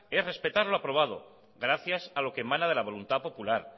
es respetar lo aprobado gracias a lo que emana de la voluntad popular